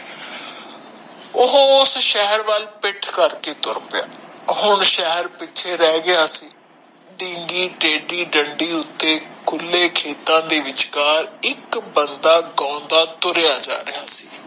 ਓਹੋ ਸ਼ਹਿਰ ਵਾਲ ਪਿੱਠ ਕਰਕੇ ਤੁਰ ਪਿਆ ਹੁਣ ਸ਼ਹਿਰ ਪਿੱਛੇ ਰਹਿ ਗਿਆ ਸੀ ਬਿਨਗੀ ਟੇਡੀ ਡੰਡੀ ਉੱਤੇ ਖੁਲੇ ਖੇਤਾਂ ਵਿਚਕਾਰ ਇਕ ਬੰਦਾ ਗਾਉਂਦਾ ਜਾ ਰਿਹਾ ਸੀ